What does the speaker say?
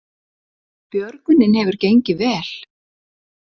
Björgunin hefur gengið vel